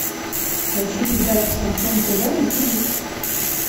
поищи передачу шансон тв на тв